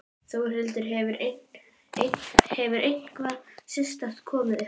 Þórhildur: Hefur eitthvað sérstakt komið upp á?